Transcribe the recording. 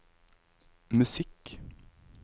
musikk